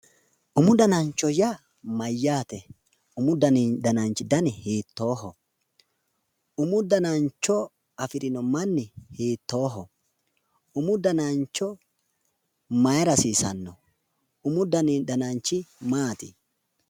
Umu danancho yaa mayyaate? umu danananchi dani hiittoho? umu danancho afirinohu manni hiittoho? Umu dananchi mayra hasiissanno? Umu dananchi maati?